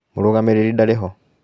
Mũrũgamĩrĩri ndarĩ ho.